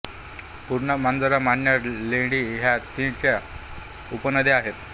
पूर्णा मांजरा मन्याड लेंडी ह्या तीच्या ऊपनद्या आहेत